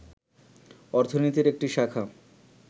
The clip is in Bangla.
অর্থনীতির একটি শাখা